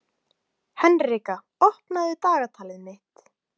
Henrika, opnaðu dagatalið mitt.